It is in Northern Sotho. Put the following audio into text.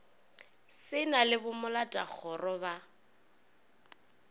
se na le bomoletakgoro ba